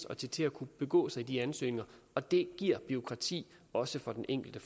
og til til at kunne begå sig i de ansøgninger og det giver bureaukrati også for den enkelte